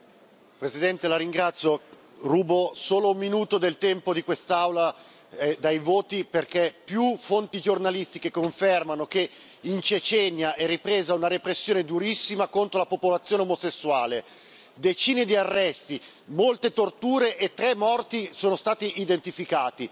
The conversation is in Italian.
Signor Presidente, onorevoli colleghi, rubo solo un minuto del tempo di quest'Aula, dai voti, perché più fonti giornalistiche confermano che in Cecenia è ripresa una repressione durissima contro la popolazione omosessuale decine di arresti, molte torture e tre morti sono stati identificati,